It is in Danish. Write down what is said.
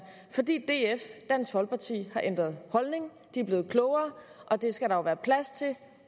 fordi dansk folkeparti har ændret holdning de er blevet klogere og det skal der jo være plads til